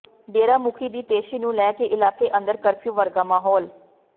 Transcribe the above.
ਡੇਰਾ ਮੁਖੀ ਦੀ ਪੇਸ਼ੀ ਨੂੰ ਲੈ ਕੇ ਇਲਾਕੇ ਅੰਦਰ ਕਰਫ਼ਿਊ ਵਰਗਾ ਮਾਹੌਲ